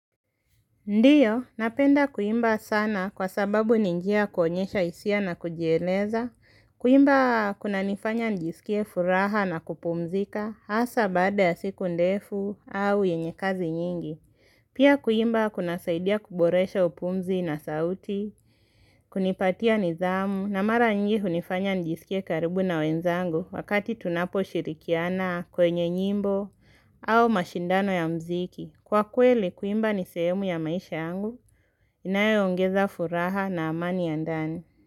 Ndiyo, napenda kuimba sana kwa sababu ni njia ya kuonyesha hisia na kujieleza. Kuimba kunanifanya njisikie furaha na kupumzika hasa baada ya siku ndefu au yenye kazi nyingi. Pia kuimba kuna saidia kuboresha upumzi na sauti, kunipatia nidhamu na mara nyingi hunifanya njisikie karibu na wenzangu wakati tunapo shirikiana kwenye nyimbo au mashindano ya mziki. Kwa kweli kuimba ni sehemu ya maisha yangu, inayoongeza furaha na amani ya ndani.